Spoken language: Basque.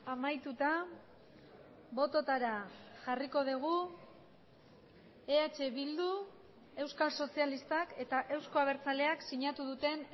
amaituta bototara jarriko dugu eh bildu euskal sozialistak eta euzko abertzaleak sinatu duten